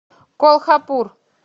колхапур